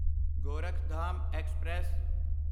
Gorakhdham express